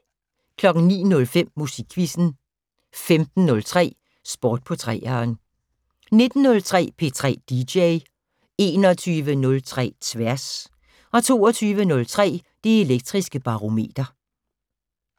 09:05: Musikquizzen 15:03: Sport på 3'eren 19:03: P3 dj 21:03: Tværs 22:03: Det Elektriske Barometer